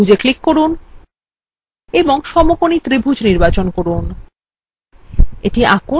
ছোট কালো ত্রিভুজএ click করুন এবং সমকোণী ত্রিভুজ নির্বাচন করুন